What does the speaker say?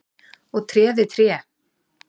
og tré við tré.